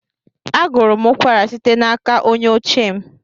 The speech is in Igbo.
Agụrụ m ụkwara site n'aka onye oche m.